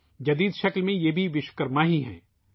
نئی شکل میں ، وہ وشوکرما بھی ہیں